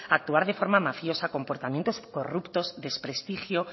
actuar de forma mafiosa compartimientos corruptos desprestigio